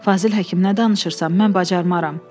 Fazil Həkim nə danışırsan, mən bacarmaram.